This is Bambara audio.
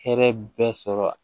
Hɛrɛ bɛɛ sɔrɔ